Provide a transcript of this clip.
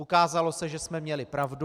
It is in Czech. Ukázalo se, že jsme měli pravdu.